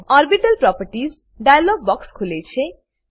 orbital properties dialog box ખુલે છે